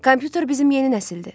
Kompüter bizim yeni nəsildir.